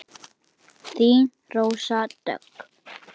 Þín, Rósa Dögg.